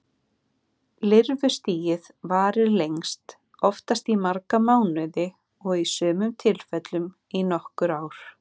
Lirfustigið varir lengst, oftast í marga mánuði og í sumum tilfellum í nokkur ár.